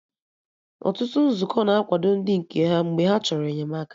Ọtụtụ Nzukọ na-akwado ndị nke ha mgbe ha chọrọ enyemaka